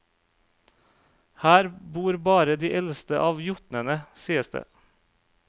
Her bor bare de eldste av jotnene, sies det.